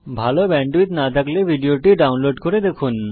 ভাল ব্যান্ডউইডথ না থাকলে আপনি ভিডিওটি ডাউনলোড করে দেখুন